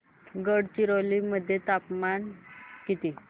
गडचिरोली मध्ये तापमान किती